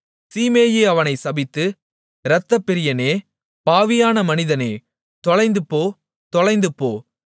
சீமேயி அவனை சபித்து இரத்தப்பிரியனே பாவியான மனிதனே தொலைந்துபோ தொலைந்துபோ